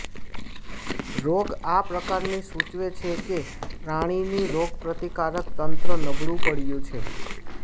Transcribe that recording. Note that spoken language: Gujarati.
રોગ આ પ્રકારની સૂચવે છે કે પ્રાણીની રોગપ્રતિકારક તંત્ર નબળું પડ્યું છે